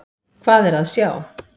Hvað er að sjá!